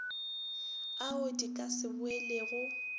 ao di ka se boelego